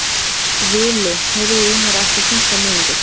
Vili, heyrðu í mér eftir fimmtán mínútur.